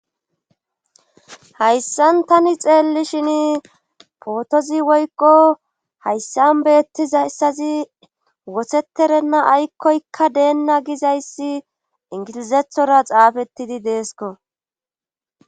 hayssan tani xeelli shin pootozi woykko hayssan beettizayssazi woheterenna aykkoykka deenna gizayssi ingilizethora xaafettidi deesko